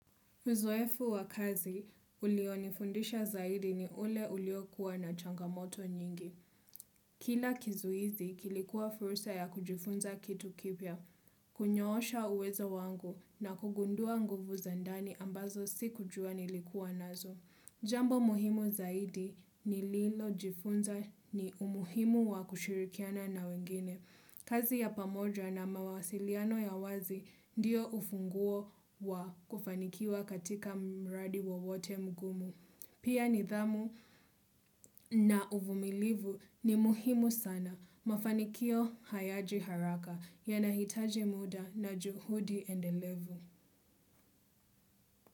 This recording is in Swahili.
Uzoefu wa kazi ulionifundisha zaidi ni ule uliokuwa na changamoto nyingi. Kila kizuizi kilikuwa fursa ya kujifunza kitu kipya, kunyoosha uwezo wangu na kugundua nguvu za ndani ambazo sikujua nilikuwa nazo. Jambo muhimu zaidi ni lilojifunza ni umuhimu wa kushirikiana na wengine. Kazi ya pamoja na mawasiliano ya wazi ndiyo ufunguo wa kufanikiwa katika mradi wowote mgumu. Pia nidhamu na uvumilivu ni muhimu sana. Mafanikio hayaji haraka yanahitaji muda na juhudi endelevu.